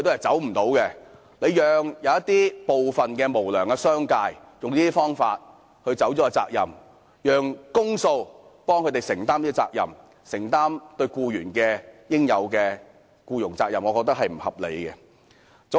政府讓部分無良的商界利用這些方法逃避責任，然後運用公帑來承擔他們對僱員應有的僱傭責任，我認為是不合理的。